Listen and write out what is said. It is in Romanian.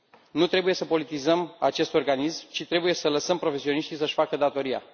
Nu trebuie să politizăm acest organism, ci trebuie să lăsăm profesioniștii să își facă datoria.